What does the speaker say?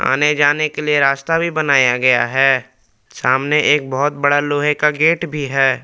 आने जाने के लिए रास्ता भी बनाया गया है सामने एक बहुत बड़ा लोहे का गेट भी है।